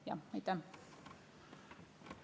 Aitäh!